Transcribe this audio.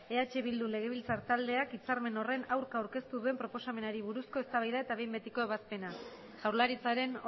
eh bildu legebiltzar taldeak hitzarmen horren aurka aurkeztu duen proposamenari buruzko eztabaida eta behin betiko ebazpena jaurlaritzaren